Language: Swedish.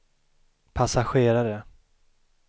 passagerare